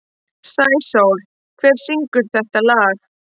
Sæsól, hver syngur þetta lag?